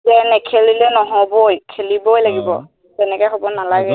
নাই নেখেলিলে নহবই খেলিবই লাগিব তেনেকে হব নালাগে